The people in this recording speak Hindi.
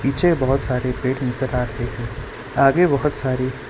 पीछे बहोत सारे पेड़ नजर आ रहे हैं आगे बहोत सारे--